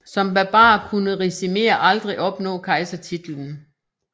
Som barbar kunne Ricimer aldrig opnå kejsertitlen